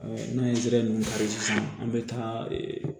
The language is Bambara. n'an ye nun kari sisan an be taa